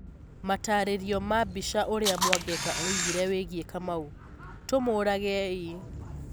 Matarĩrio ma mbica Ũrĩa Mwangeka oigire wĩgiĩ kamau : Tũmũũragei.